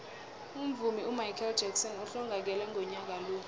umvumi umichael jackson uhlongakele ngonyaka ka